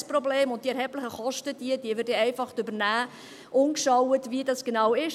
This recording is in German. Kein Problem, wir werden die erheblichen Kosten dann einfach übernehmen, ohne gesehen zu haben, wie dies genau ist.